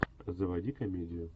заводи комедию